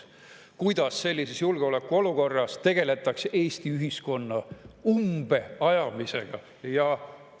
Kuidas sellises julgeolekuolukorras tegeldakse Eesti ühiskonna umbeajamisega?